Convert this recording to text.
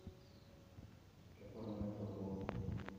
какой номер пополнить